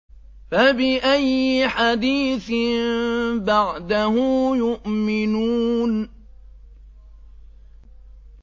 فَبِأَيِّ حَدِيثٍ بَعْدَهُ يُؤْمِنُونَ